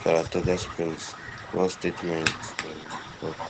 saratoga springs one statement um tok